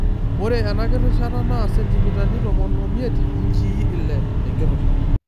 Ore ena kirishata naa sentimitai tomon omiet (inchii ile)tenkirusha.